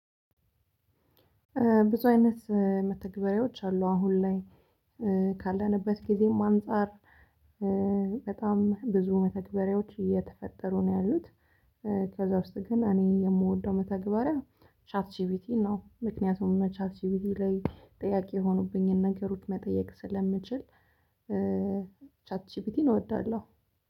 ብዙ አይነት መተግበርያዎች አሉ አሁን ላይ ካለንበት ጊዜም አንፃር በጣም ብዙ መተግበርያዎች እየተፈጠሩ ነው ያሉት። ከዛ ውስጥ ግን እኔ የምወደው መተግበሪያ ቻት ጅፕት ነው። ምክንያቱም ቻት ጅፕት ላይ ጥያቄ የሆኑብኝን ነገሮች መጠየቅ ስለምችል ቻት ጅፕትን እወዳለሁ